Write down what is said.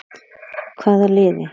Hvaða liði?